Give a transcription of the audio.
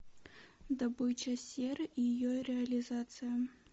добыча серы и ее реализация